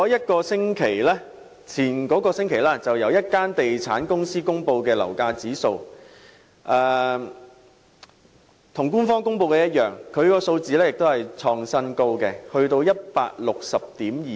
代理主席，上星期有地產公司公布樓價指數，與官方公布的數字一樣，同樣創新高至 160.26。